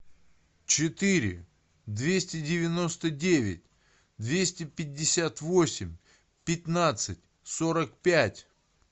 четыре двести девяносто девять двести пятьдесят восемь пятнадцать сорок пять